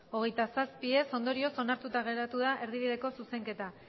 hogeita zazpi ondorioz onartuta geratu da erdibideko zuzenketa